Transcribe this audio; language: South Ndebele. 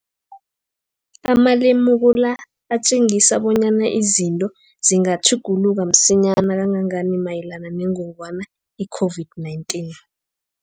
Amalemuko la atjengisa bonyana izinto zingatjhuguluka msinyana kangangani mayelana nengogwana i-COVID-19.